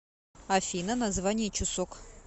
афина название чусок